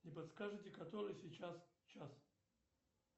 не подскажете который сейчас час